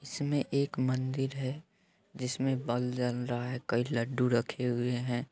इसमे एक मंदिर है जिसमे बल्ब जल रहा है कई लड्डू रखे हुए हैं।